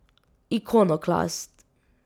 Ikonoklast.